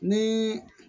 Ni